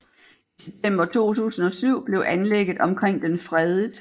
I september 2007 blev anlægget omkring den fredet